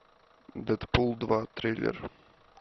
дэдпул два трейлер